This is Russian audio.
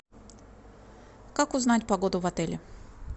как узнать погоду в отеле